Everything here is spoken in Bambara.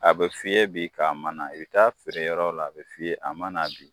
A bɛ f'i bi k'a ma na, i bɛ taa'a feereyɔrɔ la, a bɛ f'i ye a ma na bi.